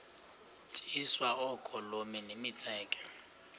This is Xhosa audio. tyiswa oogolomi nemitseke